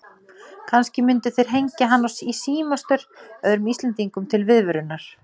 Kannski myndu þeir hengja hann í símastaur öðrum Íslendingum til viðvörunar.